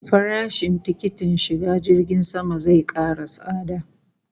Farashin tikitin shiga jirgin sama zai kara tsada